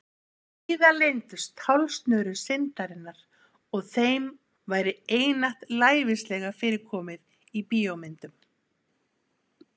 Víða leyndust tálsnörur syndarinnar og þeim væri einatt lævíslega fyrir komið í bíómyndum.